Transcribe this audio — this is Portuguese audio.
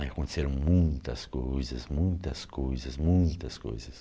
Aí aconteceram muitas coisas, muitas coisas, muitas coisas.